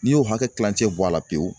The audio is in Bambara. N'i y'o hakɛ kilancɛ bɔ a la pewu